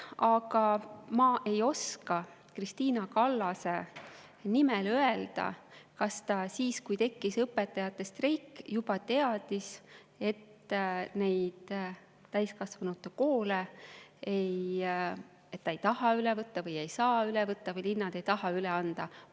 Aga ma ei oska Krist`ina Kallase nimel öelda, kas ta siis, kui õpetajate streik, juba teadis, et ta neid täiskasvanute koole ei taha või ei saa üle võtta või linnad ei taha neid üle anda.